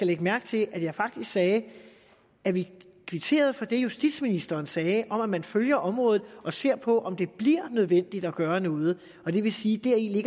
lægge mærke til at jeg faktisk sagde at vi kvitterede for det justitsministeren sagde om at man følger området og ser på om det bliver nødvendigt at gøre noget og det vil sige